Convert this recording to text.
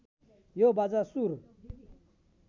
यो बाजा सुर